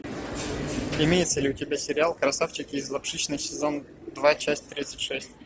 имеется ли у тебя сериал красавчики из лапшичной сезон два часть тридцать шесть